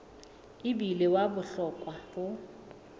e bile wa bohlokwa ho